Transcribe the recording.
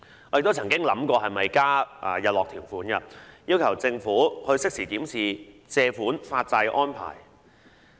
我曾經考慮是否應加入日落條款，要求政府適時檢視借款發債的安排。